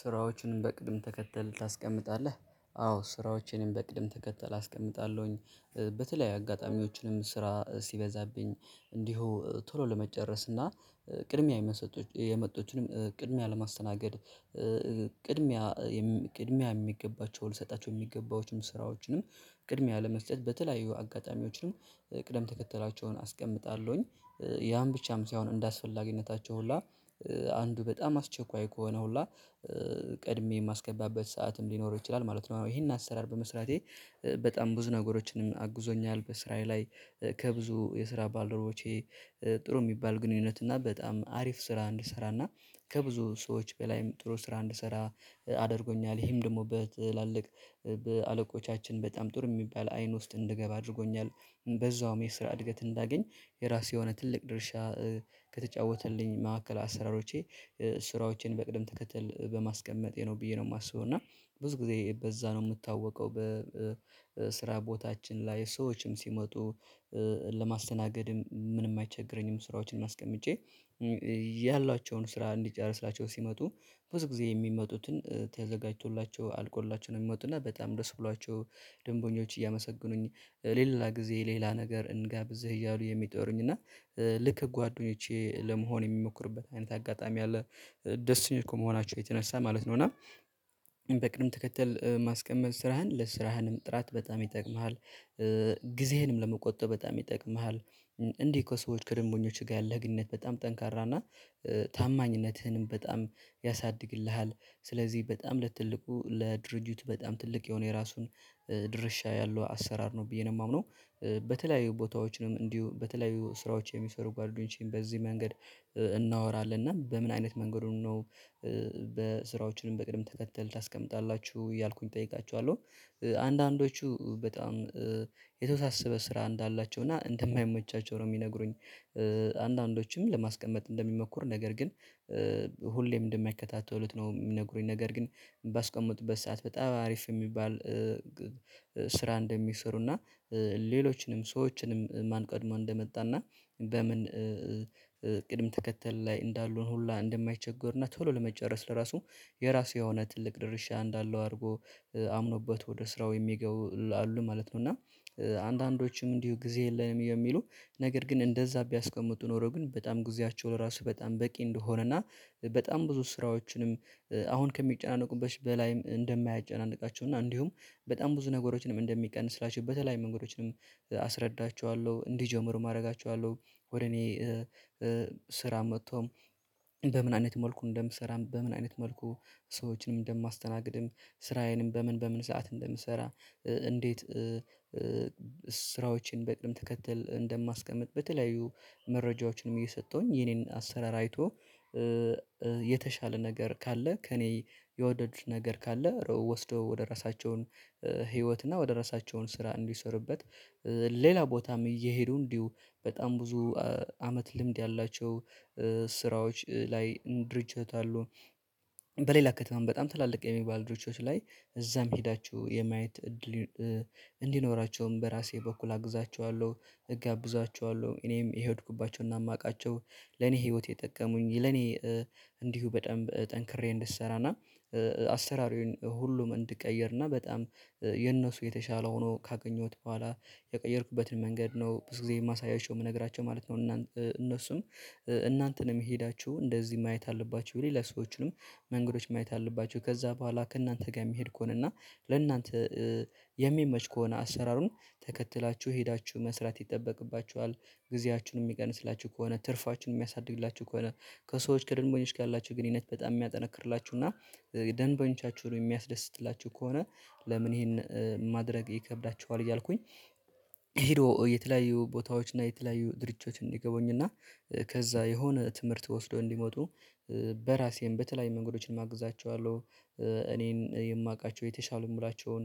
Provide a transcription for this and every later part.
ስራዎችንም በቅደም ተከተል ታስቀምጣለህ አዎ ስራዎችንም በቅደም ተከተል አስቀምጣለሁኝ በተለያዩ አጋጣሚዎችንም ስራ ሲበዛብኝ እንዲሁ ቶሎ ለመጨረስ እና ቅድሚያ የመጡትንም ቅድሚያ ለማስተናገድ ቅድሚያ ቅድሚያ የሚገባቸውን ልሰጣቸው የሚገባቸውንም ስራዎችንም ቅድሚያ ለመስጠት በተለያዩ አጋጣሚዎችንም ቅደም ተከተላቸውን አስቀምጣለሁኝ ያን ብቻም ሳይሆን እንደአስፈላጊነታቸው ሁላ አንዱ በጣም አስቸኳይ ከሆነ ሁላ ቀድሜ የማስገባበት ሰዓትም ሊኖር ይችላል ማለት ነው። ይሄን አሰራር በመስራቴ በጣም ብዙ ነገሮችንም አግዞኛል። በስራዬ ላይ ከብዙ የስራ ባልደረቦቼ ጥሩ የሚባል ግንኙነት እና በጣም አሪፍ ስራ እንድሰራና ከብዙ ሰዎች በላይም ጥሩ ስራ እንድሰራ አድርጎኛል። ይሄም ደግሞ በትላልቅ በአለቆቻችን በጣም ጥሩ የሚባል አይን ውስጥ እንድገባ አድርጎኛል። በዛውም የስራ እድገት እንዳገኝ የራሴ የሆነ ትልቅ ድርሻ። ከተጫወተልኝ ማዕከል አሰራሮቼ ስራዎቼን በቅደም ተከትል በማስቀመጤ ነው ብዬ ነው የማስበው። እና ብዙ ጊዜ በዛ ነው የምታወቀው በስራ ቦታችን ላይ ሰዎችም ሲመጡ ለማስተናገድም ምንም አይቸግረኝም። ስራዎችን አስቀምጬ ያላቸውን ስራ እንዲጨርስላቸው ሲመጡ ብዙ ጊዜ የሚመጡትን ተዘጋጅቶላቸው አልቆላቸው ነው የሚመጡት እና በጣም ድረስ ብሏቸው። ደንበኞች እያመሰገኑኝ ሌላ ጊዜ ሌላ ነገር እንጋብዝ እያሉ የሚጠሩኝ እና ልክ ጓደኞቼ ለመሆን የሚሞክሩበት አይነት አጋጣሚ አለ። ደስተኞች ከመሆናችሁ የተነሳ ማለት ነው። እና በቅደም ተከተል ማስቀመጥ ስራህን ለስራህንም ጥራት በጣም ይጠቅምሃል። ጊዜህንም ለመቆጠብ በጣም ይጠቅምሃል። እንዲህ ከሰዎች ከደንበኞችህ ጋር ያለህ ግንኙነት በጣም ጠንካራ እና ታማኝነትህንም በጣም ያሳድግልሃል። ስለዚህ በጣም ለትልቁ ለድርጅቱ በጣም ትልቅ የሆነ የራሱን ድርሻ ያለው አሰራር ነው ብዬ ነው የማምነው። በተለያዩ ቦታዎችንም እንዲሁ በተለያዩ ስራዎች የሚሰሩ ጓደኞቼን በዚህ መንገድ እናወራለን። እና በምን አይነት መንገዱን ነው? በስራዎችንም በቅድም ተከተል ታስቀምጣላችሁ እያልኩኝ እጠይቃችኋለሁ። አንዳንዶቹ በጣም የተወሳሰበ ስራ እንዳላቸው እና እንደማይመቻቸው ነው የሚነግሩኝ። አንዳንዶችም ለማስቀመጥ እንደሚሞክሩ ነገር ግን ሁሌም እንደማይከታተሉት ነው የሚነግሩኝ። ነገር ግን ባስቀመጡበት ሰዓት በጣም አሪፍ የሚባል ስራ እንደሚሰሩና። ሌሎችንም ሰዎችንም ማን ቀድሞ እንደመጣና በምን ቅደም ተከተል ላይ እንዳሉን ሁላ እንደማይቸገሩና ቶሎ ለመጨረስ ለራሱ የራሱ የሆነ ትልቅ ድርሻ እንዳለው አድርጎ አምኖበት ወደ ስራው የሚገቡ አሉ ማለት ነው። እና አንዳንዶችም እንዲሁ ጊዜ የለንም የሚሉ። ነገር ግን እንደዛ ቢያስቀምጡ ኖሮ ግን በጣም ጊዜያቸውን ራሱ በጣም በቂ እንደሆነ እና በጣም ብዙ ስራዎችንም አሁን ከሚጨናነቁበት በላይም እንደማያጨናንቃቸው እና እንዲሁም በጣም ብዙ ነገሮችንም እንደሚቀንስላችሁ በተለይ መንገዶችንም አስረዳችኋለሁ። እንዲጀምር አደርጋችኋለሁ። ወደ እኔ ስራ መጥቶም በምን አይነት መልኩ እንደምሰራ በምን አይነት መልኩ ሰዎችንም እንደማስተናግድም ስራዬንም በምን በምን ሰዓት እንደምሰራ እንዴት? ስራዎችን በቅደም ተከተል እንደማስቀምጥ በተለያዩ መረጃዎችንም እየሰጠሁኝ የኔን አሰራር አይቶ የተሻለ ነገር ካለ ከእኔ የወደዱት ነገር ካለ ርዕው ወስዶ ወደ ራሳቸውን ህይወት እና ወደ ራሳቸውን ስራ እንዲሰሩበት ሌላ ቦታም እየሄዱ እንዲሁ በጣም ብዙ አመት ልምድ ያላቸው ስራዎች ላይ ድርጅት አሉ። በሌላ ከተማ በጣም ትላልቅ የሚባል ድርጅቶች ላይ እዛም ሄዳችሁ የማየት እድል። እንዲኖራቸውም በራሴ በኩል አግዛቸዋለሁ። እጋብዛቸዋለሁ እኔም የሄድኩባቸውና የማውቃቸው ለኔ ህይወቴ የጠቀሙኝ ለኔ እንዲሁ በጣም ጠንክሬ እንድሰራና አሰራሩን ሁሉም እንድቀይርና በጣም የነሱ የተሻለ ሆኖ ካገኘሁት በኋላ የቀየርኩበትን መንገድ ነው ብዙ ጊዜ የማሳያቸው የምነግራቸው ማለት ነው። እነሱም እናንተንም የሄዳችሁ እንደዚህ ማየት አለባችሁ ብለን ለሰዎችንም መንገዶች ማየት አለባችሁ ከዛ በኋላ ከእናንተ ጋር የሚሄድ ከሆነ እና ለእናንተ የሚመች ከሆነ አሰራሩን ተከትላችሁ ሄዳችሁ መስራት ይጠበቅባችኋል። ጊዜያችሁን የሚቀንስላችሁ ከሆነ ትርፋችሁን የሚያሳድግላችሁ ከሆነ ከሰዎች ከደንበኞች ጋር ያላችሁ ግንኙነት በጣም የሚያጠነክርላችሁ እና ደንበኞቻችሁን የሚያስደስትላችሁ ከሆነ። ለምን ይሄን ማድረግ ይከብዳቸዋል እያልኩኝ። ሄዶ የተለያዩ ቦታዎችና የተለያዩ ድርጅቶች እንዲገቡኝና ከዛ የሆነ ትምህርት ወስዶ እንዲመጡ በራሴም በተለያዩ መንገዶችን አግዛቸዋለሁ። እኔን የማውቃቸው የተሻሉ የምላቸውን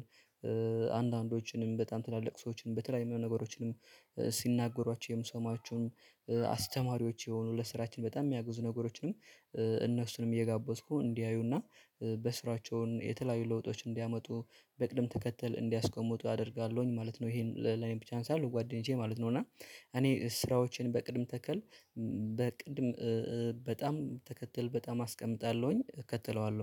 አንዳንዶችንም በጣም ትላልቅ ሰዎችንም በተለያዩ ነገሮችንም ሲናገሯቸው የምሰማቸውን አስተማሪዎች የሆኑ ለስራችን በጣም የሚያግዙ ነገሮችንም እነሱንም እየጋበዝኩ እንዲያዩና በስራቸውን የተለያዩ ለውጦች እንዲያመጡ በቅደም ተከተል እንዲያስቆምጡ አደርጋለሁኝ ማለት ነው። ይሄን ለኔ ብቻ ሳይሆን ለጓደኞቼ ማለት ነው። እና እኔ ስራዎችን በቅደም ተከል በቅደም በጣም ተከትል በጣም አስቀምጣለሁኝ እከተለዋለሁ